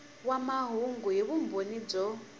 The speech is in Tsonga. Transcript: wa mahungu hi vumbhoni byo